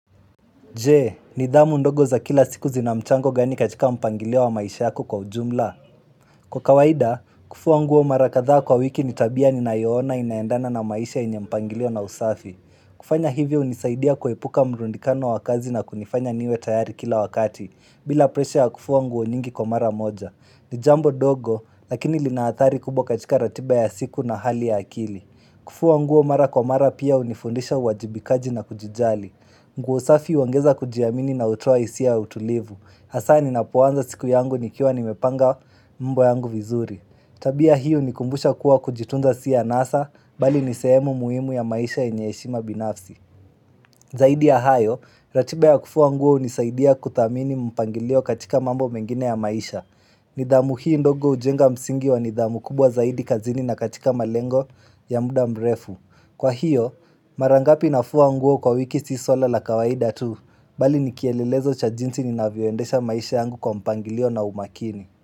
Jee, nidhamu ndogo za kila siku zinamchango gani katika mpangilio wa maisha yako kwa ujumla. Kwa kawaida, kufua nguo mara katha kwa wiki nitabia ni nayoona inaendana na maisha yenye mpangilio na usafi. Kufanya hivyo hunisaidia kuepuka mrundikano wa kazi na kunifanya niwe tayari kila wakati, bila presha ya kufua nguo nyingi kwa mara moja. Nijambo ndogo, lakini linaathari kubwa katika ratiba ya siku na hali ya akili. Kufua nguo mara kwa mara pia hunifundisha uwajibikaji na kujijali. Nguo safi huongeza kujiamini na utoa hisi aya utulivu Hasaa ninapoanza siku yangu nikiwa nimepanga mambo yangu vizuri Tabia hiyo hunikumbusha kuwa kujitunza si anasa Bali nisehemu muhimu ya maisha yenye heshima binafsi Zaidi ya hayo, ratiba ya kufua nguo hunisaidia kudhamini mpangilio katika mambo mengine ya maisha nidhamu hii ndogo hujenga msingi wa nidhamu kubwa zaidi kazini na katika malengo ya muda mrefu Kwa hiyo, mara ngapi nafua nguo kwa wiki si swala la kawaida tu, bali nikielelezo cha jinsi ninavyoendesha maisha yangu kwa mpangilio na umakini.